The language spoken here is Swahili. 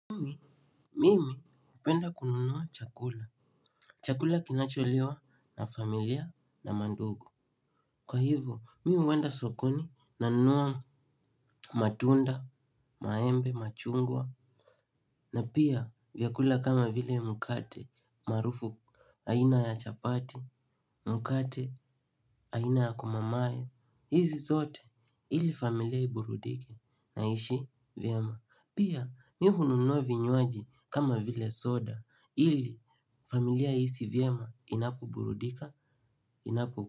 Mimi, mimi hupenda kununuwa chakula. Chakula kinacholiwa na familia na mandugu. Kwa hivyo, mimi huenda sokoni na nunua matunda, maembe, machungwa na pia vyakula kama vile mkate maarufu aina ya chapati, mkate aina ya kumamae. Hizi zote ili familia iburudike na iishi vyema. Pia mimi hununua vinywaji kama vile soda ili familia ihisi vyema inapoburudika inapo.